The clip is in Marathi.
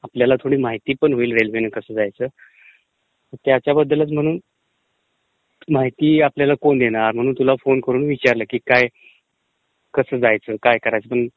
आपल्याला थोडी म्हितीपण होईल रेल्वेने कसं जायचं. त्याच्याबद्दलचं म्हणून म्हती आपल्याला कोण देणार म्हणून तुला फोन करून विचारलं की काय कसं जायचं काय करायचं,